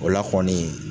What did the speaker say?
O la kɔni